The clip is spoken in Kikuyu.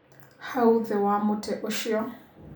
Hau thĩ wa mutĩ ũcio.